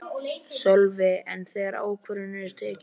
Sölvi: En þegar ákvörðunin er tekin?